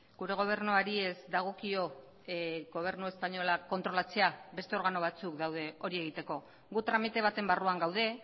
gure gobernuari ez dagokio gobernu espainola kontrolatzea beste organo batzuk daude hori egiteko gu tramite baten barruan gaude